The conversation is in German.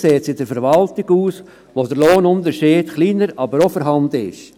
Besser sieht es in der Verwaltung aus, wo der Lohnunterschied kleiner, aber auch vorhanden ist.